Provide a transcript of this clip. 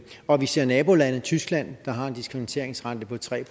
og vi ser nabolande tyskland der har en diskonteringsrente på tre